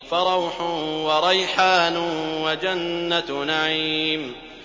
فَرَوْحٌ وَرَيْحَانٌ وَجَنَّتُ نَعِيمٍ